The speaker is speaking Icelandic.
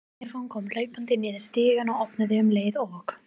Stefán kom hlaupandi niður stigann og opnaði um leið og